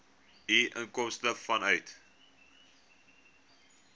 u inkomste vanuit